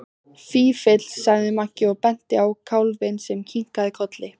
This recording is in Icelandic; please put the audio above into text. Fífill, sagði Maggi og benti á kálfinn sem kinkaði kolli.